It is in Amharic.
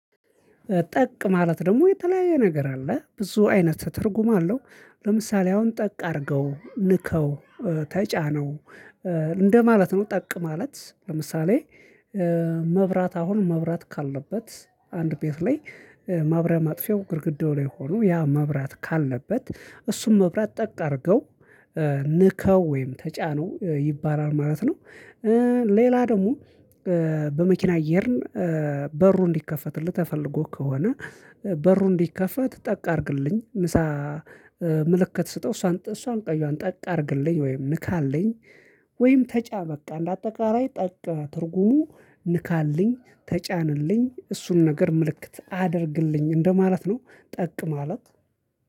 ጠቅ ማለት ደግሞ የተለያየ ነገር አለ ብዙ አይነት ትርጉም አለው። ለምሳሌ አሁን ጠቅ አድርገው ንከው ተጫነው እንደማለት ነው። ጠቅ ማለት ለምሳሌ። መብራት አሁን መብራት ካለበት አንድ ቤት ላይ ማብሪያ ማጥፊያው ግድግዳው ላይ ሆኖ ያ መብራት ካለበት እሱም መብራት ጠቅ አድርገው ንካው ወይም ተጫነው ይባላል ማለት ነው። ሌላ ደግሞ። በመኪና እየሄድን በሩ እንዲከፈትልህ ተፈልጎ ከሆነ በሩ እንዲከፈት ጠቅ አድርግልኝ ንስሃ። ምልክት ስጠው እሷን እሷን ቀይዋን ጠቅ አድርግልኝ ወይም ንካልኝ። ወይም ተጫነ በቃ እንድ አጠቃላይ ጠቅ ትርጉሙ ንካልኝ ተጫንልኝ እሱን ነገር ምልክት አድርግልኝ እንደማለት ነው። ጠቅማለት